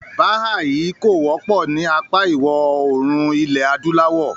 “Bàhàáhì” kò wọ́pọ̀ ní apá ìwọ̀òrùn ilẹ̀-adúláwọ̀.